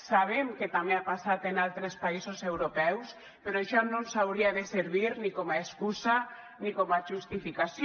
sabem que també ha passat en altres països europeus però això no ens hauria de servir ni com a excusa ni com a justificació